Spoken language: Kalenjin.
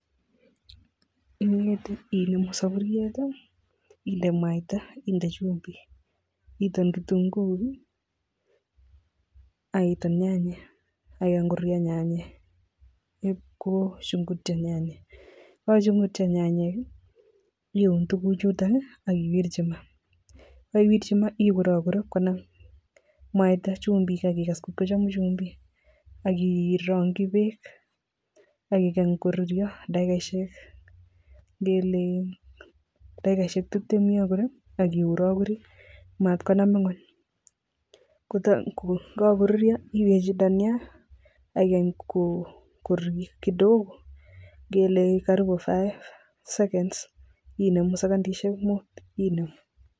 Ingete iiun soburyet inde mwaita, inde chumbik iton kitunguik ak iton nyanyat ak igany koruryo nyanyek kochungutyo nyanyek, yegochungutyo nyanyek ii iun tuguchuton iie ak iwirchi maah ye kaiwirchi maah igurogur ii konam mwaita chumbik ak igas kot kochomu mwaita chumbik ak irongyi beek ak igany koruryo dakigoisiek ngele dakigoisiek timtem yon kole ak igurogurii mat konam ngwony, ye kagoruryo iwe chito yon ak igany koruryo kidogo ngele karibu dakigosiek muut inemu segondiesiek muut inemu.